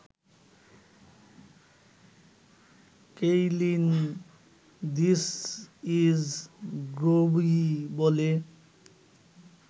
Kaylin ‘this is Groby’ বলে